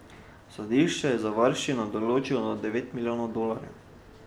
Sodišče je za varščino določilo devet milijonov dolarjev.